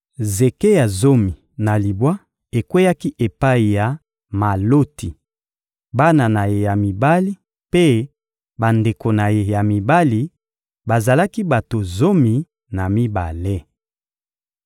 Zeke ya zomi na libwa ekweyaki epai ya Maloti, bana na ye ya mibali mpe bandeko na ye ya mibali: bazalaki bato zomi na mibale.